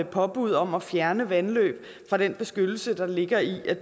påbud om at fjerne vandløb fra den beskyttelse der ligger i at